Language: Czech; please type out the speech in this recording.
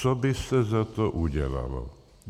Co by se za to udělalo?